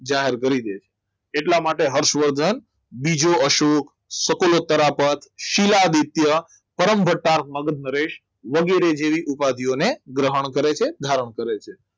જાહેર કરી દીધું એટલા માટે હર્ષવર્ધન બીજો અશોક શિલાદિત પર દ્વિતીય પરમ ભટા મગજ નરેશ વગેરે જેવી ઉપાધીઓને ગ્રહણ કરે છે ધારણ કરે છે